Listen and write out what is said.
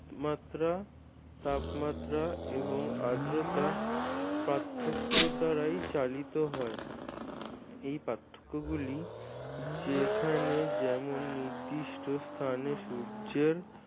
মাত্রা তাপমাত্রা এবং আদ্রতা পার্থক্য দ্বারাই চালিত হয়। এই পার্থক্যগুলি যেখানে যেমন নির্দিষ্ট স্থানে সূর্যের